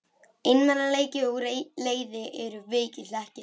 Einmanaleiki og leiði eru veikir hlekkir.